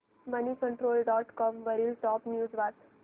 Moneycontrol dot com वरील top news वाच